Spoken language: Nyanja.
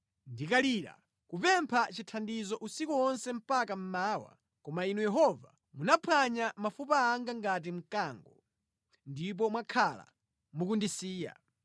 Ndinkalira kupempha chithandizo usiku wonse mpaka mmawa; koma Inu Yehova munaphwanya mafupa anga ngati mkango, ndipo mwakhala mukundisiya.